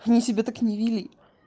они себя так не вели